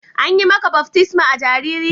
An yi maka baftisma a jariri?